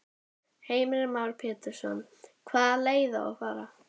Heimir Már Pétursson: Hvaða leið á að fara?